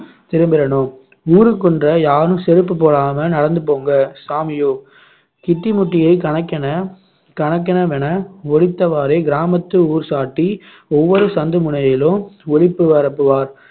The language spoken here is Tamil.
திரும்பிரணும் ஊருக்குள்ள யாரும் செருப்பு போடாம நடந்து போங்க சாமியோவ் சிட்டிமுட்டியை கணக்கென கணக்கெனவென ஒலித்தவாறே கிராமத்து ஊர் சாட்டி ஒவ்வொரு சந்து முனையிலும் ஒலிப்பு பரப்புவார்